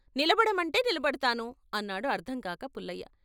'నిలబడమంటే నిలబడతాను' అన్నాడు అర్ధంకాక పుల్లయ్య.